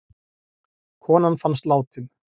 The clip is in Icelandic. Konan fannst látin